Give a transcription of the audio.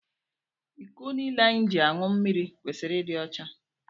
Iko niile anyị ji añụ mmiri kwesịrị ịdị ọcha.